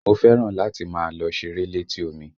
Mo fẹ́ràn láti máa lọ ṣeré létí omi